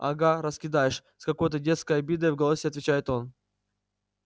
ага раскидаешь с какой-то детской обидой в голосе отвечает он